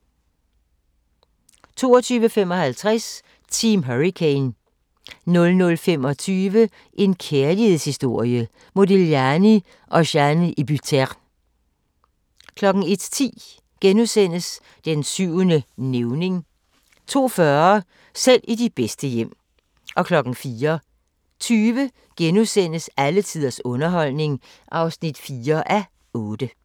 22:55: Team Hurricane 00:25: En kærlighedshistorie – Modigliani & Jeanne Hébuterne 01:10: Den syvende nævning * 02:40: Selv i de bedste hjem 04:20: Alle tiders underholdning (4:8)*